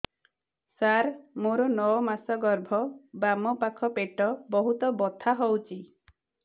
ସାର ମୋର ନଅ ମାସ ଗର୍ଭ ବାମପାଖ ପେଟ ବହୁତ ବଥା ହଉଚି